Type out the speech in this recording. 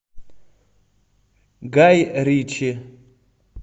гай ричи